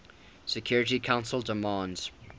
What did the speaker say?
security council demands